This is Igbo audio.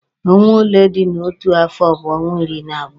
Ọnwa ole dị n'otu afọ bụ ọnwa iri na abụọ.